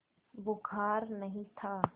बुखार नहीं था